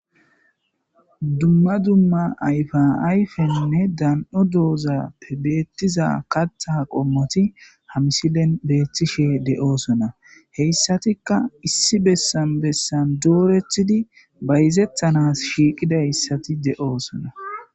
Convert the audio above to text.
dumma dumma ayfa ayfenne dan7o doozappe beettiza katha qommoti hamisilen beeththishe de7oosona heyssatikka issi bessan bessan doorethidi bayzethanas shiiqidayssati de7oosona